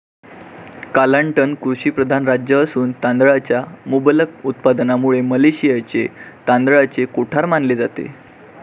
Kelantan कृषिप्रधान राज्य असून तांदळाच्या मुबलक उत्पादनामुळे मलेशियाचे तांदळाचे कोठार मानले जाते.